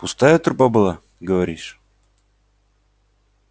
пустая труба была говоришь